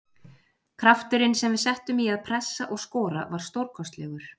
Krafturinn sem við settum í að pressa og skora var stórkostlegur.